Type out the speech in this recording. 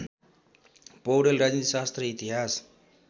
पैाडेल राजनीतिशास्त्र इतिहास